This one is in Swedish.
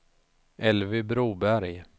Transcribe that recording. Elvy Broberg